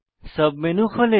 sub menu খোলে